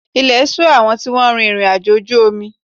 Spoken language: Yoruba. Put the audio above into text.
Ilẹ̀ ṣù àwọn tí wọ́n rin ìrìnàjò ojú omi